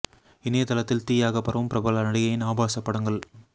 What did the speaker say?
இணையதளத்தில் தீயாக பரவும் பிரபல நடிகையின் ஆபாச படங்கள்